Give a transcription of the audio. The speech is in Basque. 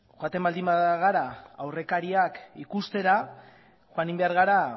joaten baldin bagara aurrekariak ikustera joan egin behar gara